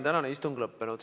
Tänane istung on lõppenud.